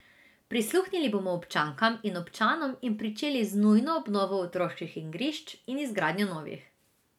Prisluhnili bomo občankam in občanom in pričeli z nujno obnovo otroških igrišč in izgradnjo novih.